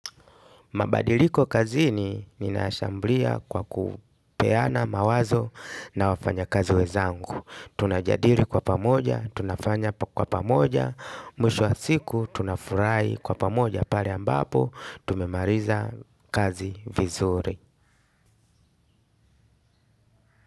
Mabadiliko kazini ninayashambulia kwa kupeana mawazo na wafanyikazi wenzangu. Tunajadili kwa pamoja, tunafanya kwa pamoja, mwisho wa siku, tunafurahi kwa pamoja, pale ambapo, tumemaliza kazi vizuri.